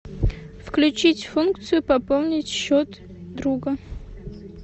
включить функцию пополнить счет друга